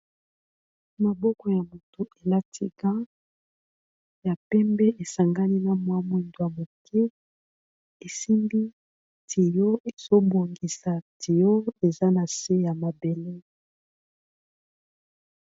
Maboko ya moto elati gand ya pembe esangani na mwa mwindu moke, esimbi tuyau. Ezo bongisa tuyau eza na se ya mabele.